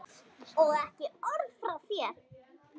Og ekki orð frá þér!